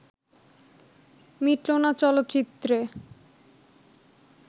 মিটলো না চলচ্চিত্রে